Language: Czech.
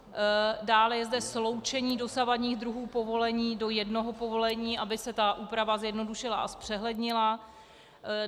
Dále je zde sloučení dosavadních druhů povolení do jednoho povolení, aby se ta úprava zjednodušila a zpřehlednila.